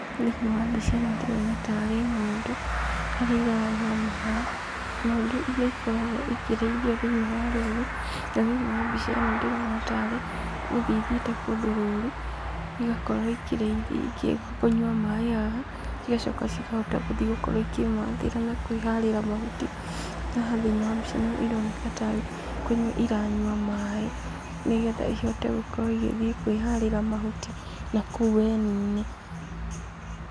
Thĩinĩ wa mbica ĩno ndĩrona tarĩ ng'ondu harĩa iranyua maĩ, ng'ondu nĩ ikoragwo ikĩrĩithio thĩinĩ wa rũru, na thĩinĩ wa mbica ĩno ndĩrona tarĩ gũthiĩ ithiĩte kũndũ rũru, igakorwo ikĩrĩithio igĩũka kũnyua maĩ haha, igacoka cikahota gũthiĩ gũkorwo ikĩmathĩra na kwĩharĩra mahuti. Haha thĩinĩ wa mbica ĩno ironeka tarĩ kũnyua iranyua maĩ, nĩgetha ihote gũkorwo igĩthiĩ kwĩharĩra mahuti nakũu weni-inĩ.